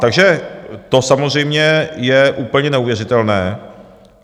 Takže to samozřejmě je úplně neuvěřitelné.